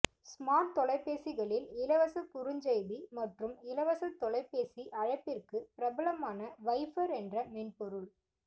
smart தொலைபேசிகளில் இலவச குறுஞ்செய்தி மற்றும் இலவச தொலைபேசி அழைப்பிற்கு பிரபலமான வைபர் என்ற மென்பொருள்